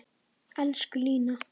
Elsku Lína.